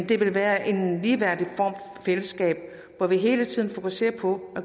det vil være en ligeværdig form for fællesskab hvor vi hele tiden fokuserer på